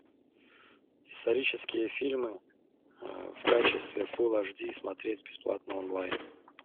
исторические фильмы в качестве фул аш ди смотреть бесплатно онлайн